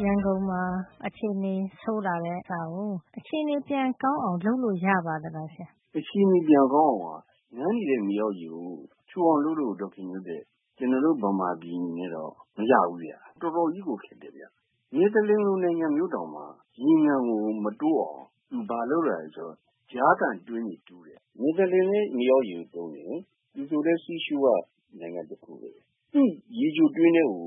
ရန်ကုန်မှာ အခြေနေဆိုးလာတာကို အခြေနေပြန်ကောင်းအောင် လုပ်လို့ ရပါသလားဆရာ။” “အခြေနေ ပြန်ကောင်းအောင်က ငံနေတဲ့ မြေအောက်ရေကို ချိုအောင်လုပ်လို့ - ကျနော်တို့ မြန်မာပြည်အနေနဲ့တော့ မရဘူးဗျ။ တော်တော်ကြီးကို ခက်တယ်ဗျ။ နယ်သလန်လို နိုင်ငံမျိုးတောင်မှ ရေငံကို မတိုးအောင် သူဘာလုပ်ရသလဲ ဆိုတော့ ကြားခံတွင်းတွေ တူးတယ်။ နယ်သာလန်လည်း မြေအောက်ရေကို သုံးတယ်။ သူတို့လည်း sea shore က နိုင်ငံ တခုပဲ။ သူ့ရေချိုတွင်းထဲကို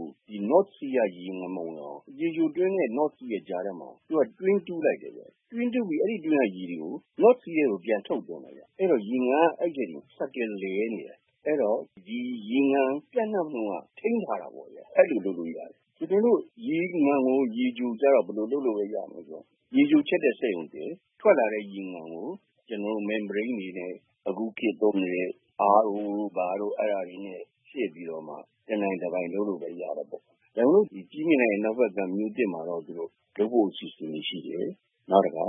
north sea က ရေငံမဝင်အောင်၊ ရေချိုတွင်းနဲ့ မြောက်ပင်လယ် ကြားထဲမှာ သူက တွင်းတူးလိုက်တယ်။ တွင်းတူးပြီး အဲဒီ တွင်းကရေကို မြောက်ပင်လယ်ထဲ ပြန်ထုတ်တယ်။ အဲဒီတော့ ရေငံက အဲဒီအထဲမှာပဲ cycle လည်နေတယ်။ အဲဒီတော့ ရေငံပြန့်နှံ့နှုန်းက ထိန်းထားတာပေါ့။ အဲဒီလို လုပ်လို့ရတယ်။” “တကယ်လို့ ရေငံကို ရေချိုဖြစ်အောင် ဘယ်လို လုပ်လို့ ရသလဲ ဆိုတော့ ရေချိုချက်တဲ့ စက်ရုံတည်။ ထွက်လာတဲ့ ရေငံကို ကျနော်တို့ membrane တွေနဲ့ အခုခေတ် သုံးနေတဲ့ RO - Membrane တို့ ဘာတို့ အဲဒါတွေနဲ့ စစ်ပြီးတော့မှ တနိုင်တပိုင် လုပ်လို့ ရတာပေါ့။ ဒါပေမယ့်လို့ ဒီ ကြည့်မြင်တိုင် အနောက်ဖက်ကမ်း မြို့သစ်မှာတော့ သူတို့ ုလုပ်ဖို့ အစီစဉ်တွေ ရှိတယ်။ နောက်တခါ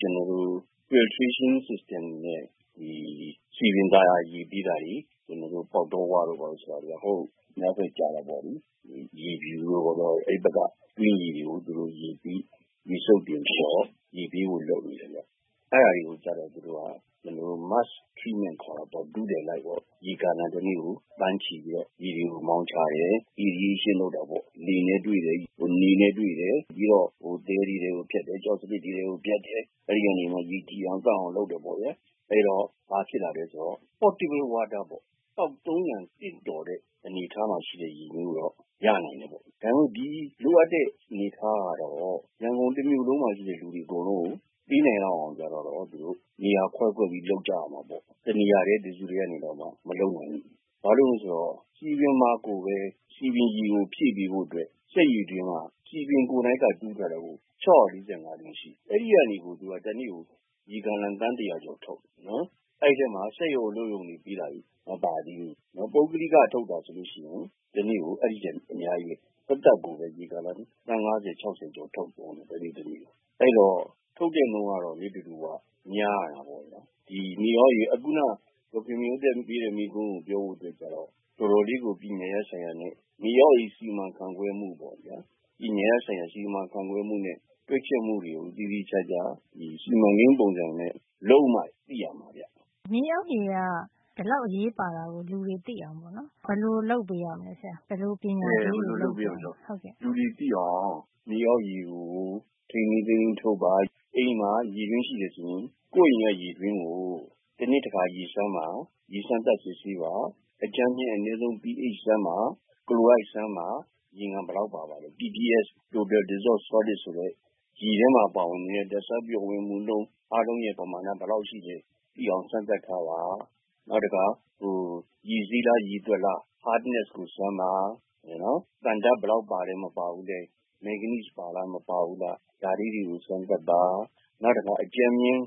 ကျနော်တို့ - filtration system ရေစစ်တဲ့စံနစ်နဲ့ စည်ပင်သာယာ ရေပေး တာတွေ၊ ကျနော်တို့ ပေါက်တောဝတို့ ဘာတို့ ဆိုတာ။ ဟိုး အနောက်ဖက် ကျတာ ပေါ့လေ။ ရေဖြူတို့ ဘာတို့။ ဘာလို့လည်း ဆိုတော့ အဲဒီဘက်က တွင်းရေတွေကို ရေစုပ်တင် ပြီးတော့ ရေပေးဝေဖို့ လုပ်နေတယ်ပေါ့။ အဲဒါတွေကို ကျတော့ သူတို့က ကျနော်တို့ mass treatment ခေါ်တာပေါ့။ ထုထည်လိုက်ပေါ့။ ရေဂါလံ တနေ့ကို သန်းချီပြီးတော့ ရေတွေကို မောင်းချတယ်။ နေနဲ့ တွေ့တယ်။ လေနဲ့တွေ့တယ်။ ပြီးတော့ သဲတွေထဲကို ဖြတ်တယ်။ ကျောက်စရစ်တွေထဲ ကိုဖြတ်တယ်။ အဲဒီကနေမှ ရေကြည်အောင် သန့်အောင်လုပ်တယ် ပေါ့ဗျာ။ အဲတော့ ဘာဖြစ်လာသလဲ ဆိုတော့ portable water ပေါ့။ သောက်သုံးရန် သင့်တော်တဲ့ အနေထားမှာ ရှိတဲ့ရေမျိုး ရနိုင်တယ်ပေါ့။” “ဒါပေမယ့် ဒီ လိုအပ်တဲ့ အနေထားကတော့ ရန်ကုန် တမြို့လုံးမှာ ရှိတဲ့ လူတွေ အကုန်လုံးကို ပေးနိုင်လောက်အောင် ဆိုတာ ကျတော့၊ သူတို့ နေရာခွဲခွဲပြီး လုပ်ကြရမှာပေါ့။ တနေရာထဲ တစုထဲကနေ မလုပ်နိုင်ဘူး။ ဘာကြောင့်လဲ ဆိုတော့ စည်ပင်မှာ ကိုပဲ စည်ပင်ရေကို ဖြည့်ပေးဖို့အတွက် စက်ရေတွင်းက စည်ပင်ကိုယ်တိုင်က တူးထားတာ ကိုက ၆၄၅ တွင်း ရှိနေတယ်။ အဲဒါကိုက တနေ့ကို ရေဂါလံ သန်း တရာကျော် ထုတ်နေတယ်။ အဲဒီထဲမှာ စက်ရုံ အလုပ်ရုံတွေပေးတာတွေ မပါသေးဘူး။ ပုဂ္ဂလိကထုတ်တာ ဆိုလို့ ရှိရင် တနေ့ကို အဲဒီထက် အများကြီးပဲ။ သပ်သပ်ကို ရေဂါလံ သန်း ၅၀- ၆၀ ကျော်ထုတ်သုံးနေတယ်။ တနေ့တနေ့ကို။ အဲဒီတော့ ထုတ်တဲ့ နှုန်းကတော့ နေ့တဒူဝ များတာပေါ့။ စောစောက မေးတဲ့ မေးခွန်းကို ပြောရရင် တော်တော်လေးကို ပညာရပ်ဆိုင်ရာနဲ့ မြေအောက်ရေ စီမံခန့်ခွဲမှု ဆိုင်ရာပေါ့ဗျာ။ ပညာရပ်ဆိုင်ရာ စီမံခန့်ခွဲမှုနဲ့ တွက်ချက်မှုတွေကို သေသေချာချာ စီမံကိန်း ပုံစံနဲ့ လုပ်မှ သိရမှာပေါ့။” “မြေအောက်ရေက ဒီလောက်အရေးပါတယ် ဆိုတာကို အများသိအောင် ဘယ်လိုလုပ်ပေးရမလဲဆရာ” “အဲဒီလို လူတွေ သိအောင် မြေအောက်ရေကို ထိန်းထိန်းသိမ်းသိမ်း ထုတ်ပါ။ အိမ်မှာ ရေတွင်း ရှိတယ် ဆိုရင် ကိုယ့်အိမ်က ရေတွင်းကို တနှစ်တခါ ရေစမ်းပါ။ ရေစမ်းသပ် စစ်ဆေးပါ။ အကြမ်းဖျင်း အနဲဆုံး pH စမ်းပါ။ ကလိုရိုဒ် စမ်းပါ။ ရေငံ ဘယ်လောက်ပါသလဲ TDS solid ဆိုတဲ့ ရေထဲမှာ ပျော်ဝင်နေတဲ့ ဓါတ်ဆားပါဝင်မှုနှုန်း အားလုံးရဲ့ ပမာဏ ဘယ်လောက် ရှိလဲ သိအောင် စမ်းသပ်ထားပါ။ နောက်တခါ ရေစေးလား၊ ရေသွက်လား၊ hardness ကိုစမ်းပါ။ သံဓါတ် ဘယ်လောက် ပါတယ်။ မပါဘူးလဲ။ မန်းဂနီးစ် Mangnese ပါလား မပါဘူးလား။ ဒါလေးတွေကို စမ်းသပ်ပါ။ နောက်တခါ အကြမ်းဖျင်း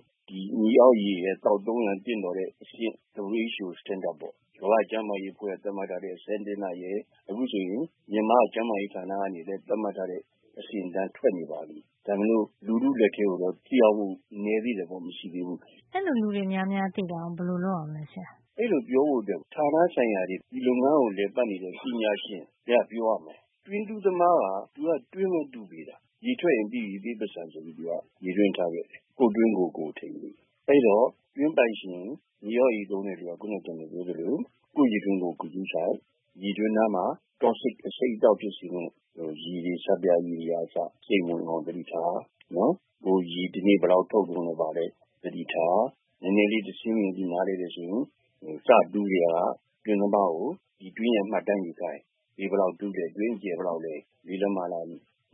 မြေအောက်ရေရဲ့ သောက်သုံးရန် သင့်တော်တဲ့ အဆင့် WHO standard ပေါ့။ ကမ္ဘာ့ကျန်းမာရေး အဖွဲ့က သတ်မှတ်ထားတဲ့ စံသတ်မှတ်ချက်ရယ်။ အခုဆိုရင် မြန်မာ့ကျန်းမာရေးဌာနက သတ်မှတ်ထားတဲ့ အဆင့်အတန်း ထွက်နေပါပြီ။ ဒါပေမယ့် လူထု လက်ထဲကိုတော့ သက်ရောက်မှု နဲသေးတယ်ပေါ့။ မရှိဘူး။” “အဲဒီလိုတွေ သိအောင် ဘယ်လိုလုပ်ရမလဲ ဘယ်သူတွေက ပြောပေးမလဲ ဆရာ” ”အဲဒီလို ပြောဖို့ အတွက် ဌာနဆိုင်ရာတွေ၊ ဒီလုပ်ငန်းကို လည်ပတ်နေတဲ့ ပညာရှင်တွေက ပြောရမှာ။ တွင်းတူးသမားက သူက တွင်းပဲတူးပေးတာ။ ရေထွက်ရင် ပြီးပြီ။ ပေးပိုက်ဆံဆိုပြီး သူက ရေတွင်းထားခဲ့တယ်။ ကိုယ့်တွင်းကို ကိုယ်ထိန်းလေ။ အဲဒီတော့ တွင်းပိုင်ရှင် မြေအောက်ရေ သုံးတဲ့သူက ခုန ကျနော် ပြောသလို ကိုယ့်ရေတွင်းကို ကိုယ် ဂရုစိုက်၊ ရေတွင်းနားမှာ toxic အဆိပ်အတောက် ဖြစ်စေမယ့် အရည်တွေ၊ ဆပ်ပြာရည်က အစ စိမ့်မဝင်အောင် သတိထား။ ကိုယ် ရေ တနေ့ ဘယ်လောက် ထုတ်သုံးသလဲ ဘာလဲ သတိထား။ နဲနဲလေး တဆင့်မြှင့်ပြီး နားလည်မယ် ဆိုရင်။ စတူးကတည်းက တွင်းသမားကို တွင်းရဲ့ မှတ်တမ်း ယူခိုင်း။ ရေဘယ်လောက် တူးသလဲ။ တွင်းအကျယ် ဘယ်လောက်တူးသလဲ။ ၄- လက်မလား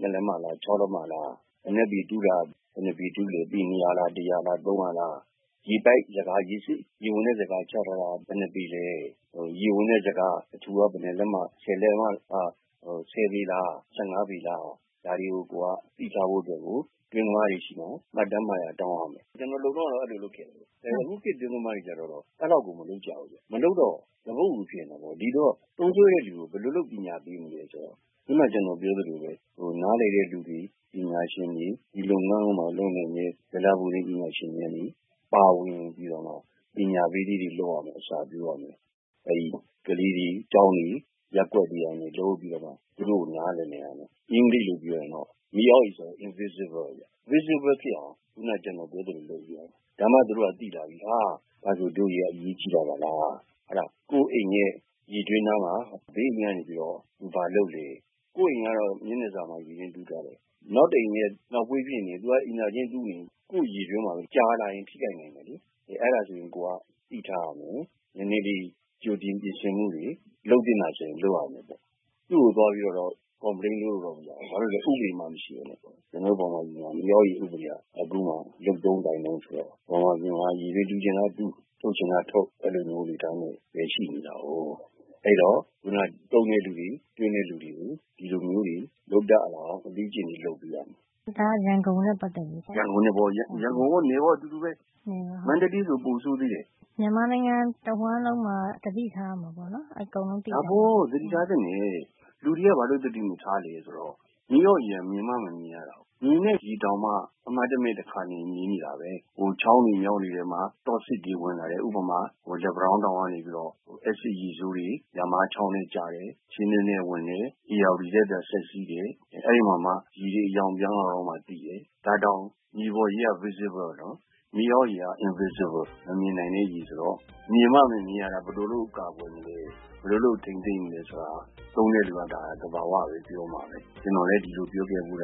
၊ ၆- လက်မလား။ အနက်ပေက ဘယ်နှစ်ပေ တူးသလဲ။ ပေ ၂၀၀ လား။ သုံးရာလား။ ရေပိုက်။ ရေစစ် ရေဝင်တဲ့ ဇကာ ချထားတာက ဘယ်နှစ်ပေလဲ။ ဇကာ အထူက ဘယ်နှစ်လက်မလဲ။ ဒါတွေကို ကိုယ်က သိထားဖို့ အတွက်ကို တွင်းသမားတွေ ဆီမှာ မှတ်တမ်း မှတ်ရာ တောင်းရမယ်။ ကျနော် လုပ်တုန်းကတော့ အဲလို လုပ်ခဲ့တာပဲ။ အဲ အခုခေတ် တွင်းသမားတွေကျတော့ အဲလောက်ကို မလုပ်ကြဘူး။ မလုပ်တော့ သပွတ်အူ ဖြစ်နေတာပေါ့။” “သုံးစွဲတဲ့သူကို ဘယ်လိုပညာပေးမလဲ ဆိုတော့ ခုန ကျနော် ပြောသလိုပဲ၊ နားလည်တဲ့ သူတွေ ပညာရှင်တွေ၊ ဒီလုပ်ငန်းမှာ လုပ်နိုင်မယ့် ဇလဘူမိ ပညာရှင်တွေကနေ ပါဝင် ပြီးတော့မှ ပညာပေးလေးတွေ လုပ်ရမယ်။ အစပျိုးရမယ်။ ကလေးတွေ၊ ကျောင်းတွေ၊ ရပ်ကွက်တွေကနေ နားလည်နိုင်အောင် လုပ်ရမယ်။ အင်္ဂလိပ်လို ပြောရရင်တော့ မြေအောက်ရေ ဆိုတာက invisible ဗျ ။ visible ဖြစ်လာအောင် ခုန ကျနော်ပြောသလို လုပ်ပေးရမယ်။ ဒါမှသူတို့က သိလာပြီး။ ဟ ဒါဆို ဒို့ မြေအောက်ရေက အရေးကြီးတာ ပါလား။ ကိုယ့်အိမ်ရဲ့ ရေတွင်းနားမှာ ဘေးအိမ်က နေပြီးတော့ သူဘာလုပ်လဲ။ ကိုယ့်အိမ်ကတော့ မျက်နှာစာမှာ ရေတွင်းတူးထားတယ်။ နောက်တအိမ်ရဲ့ နောက်ဖေး ဖြစ်နေရင် သူက အိမ်သာကျင်း တူးနေရင် ကိုယ့်ရေတွင်းမှာ ကြာလာရင် ထိခိုက်နိုင်တယ်။ အဲဒါဆိုရင် ကိုယ်က သိထားရမယ်။ နဲနဲလေး ကြိုတင် ပြင်ဆင်မှုတွေ လုပ်သင့်တာ ဆိုရင် လုပ်ရမယ်။ သူ့ကို သွားပြီးတော့တော့၊ အပြစ်တင်နေလို့ မရဘူး။ ဘာလို့လည်း ဆိုတော့ ဥပဒေမှ မရှိပဲနဲ့ဥစ္စာ။ ကျနော်တို့ မြန်မာပြည်မှာ က မြေအောက်ရေ ဥပဒေက အခုမှ လုပ်တုန်း ကိုင်တုန်း ဆိုတော့၊ မြန်မာပြည်မှာက ရေတွင်းတူးချင်တိုင်းတူး။ ထုတ်ချင်တာထုတ်။ အဲဒီလိုမျိုး အနေထားနဲ့ ပဲ ရှိနေတာကိုး။ အဲဒီတော့ ခုန သုံးတဲ့လူတွေ၊ တွင်းရှိတဲ့ လူတွေ၊ ဒီလိုမျိုးတွေ လုပ်တတ်လာအောင် အလေ့အကျင့်လေး လုပ်ပေးရမယ်။” “ဒါက ရန်ကုန်နဲ့ ပတ်သက်တာ ပေါ့နော်။” “ရန်ကုန်ရော၊ နယ်ရော အတူတူပဲ။ မန္တလေးဆို ပိုဆိုးသေးတယ်။” “မြန်မာနိုင်ငံ တဝှမ်းလုံးမှာ သတိထားရမှာပေါ့နော်။” “ဒါပေါ့ သတိထားသင့်တယ်။ လူတွေက ဘာလို့ သတိမထားသလဲဆိုတော့။ မြေအောက်ရေက မြင်မှ မမြင်ရတာ။ မြင်ရတဲ့ ရေတောင်မှ အမှတ်တမဲ့ တခါတလေ နေနေတာပဲ။ ဟို ချောင်းတွေ၊ မြောင်းတွေ ထဲမှာ အဆိပ် toxic တွေ ဝင်လာတယ်။ ဥပမာ လက်ပံတောင်းတောင်ကနေပြီးတော့ အက်ဆစ်ရေဆိုးတွေ ယမားချေင်းထဲ ကျတယ်။ ချင်းတွင်းမြစ်ထဲ ဝင်တယ်။ ဧရာဝတီထဲ ဒါက ဆက်စီးတယ်။ အဲ အဲ့ဒီမှာမှ ရေ အရောင် ပြောင်းလာတော့မှ သိတယ်။ ဒါ တောင် မြေပေါ်ရေက visible နော်။ မြေအောက်ရေက invisible - မမြင်နိုင်တဲ့ ရေ ဆိုတော့ မြင်မှ မမြင်ရတာ ဘယ်လိုလုပ် ကာကွယ်မလဲ၊ ဘယ်လိုလုပ် ထိန်းသိမ်းမလဲ ဆိုတာ သုံးတဲ့လူက ဒါ သဘာဝပဲ။ ပြောမှာပဲ။ ကျနော်လည်း ဒီလိုပြောခဲ့ဘူးတာ